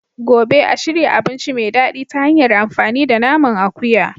Gobe. a shirya abinci mai daɗi ta hanyar amfani da naman akuya.